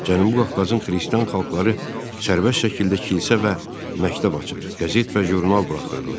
Cənubi Qafqazın xristian xalqları sərbəst şəkildə kilsə və məktəb açır, qəzet və jurnal buraxırdılar.